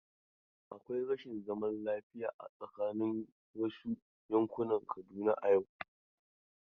Akwai rashin zaman lafiya a tsaakanin wasu yankunan Kaduna a yau.